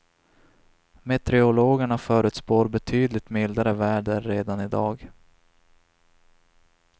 Meteorologerna förutspår betydligt mildare väder redan i dag.